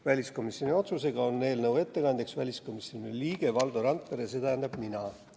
Väliskomisjoni otsusega on eelnõu ettekandja väliskomisjoni liige Valdo Randpere, see tähendab mina.